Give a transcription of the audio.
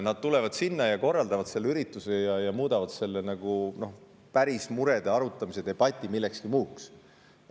Nad tulevad kohale, korraldavad seal ürituse ja muudavad päris murede arutamise debati millekski muuks.